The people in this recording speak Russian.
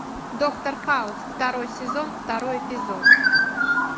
доктор хаус второй сезон второй эпизод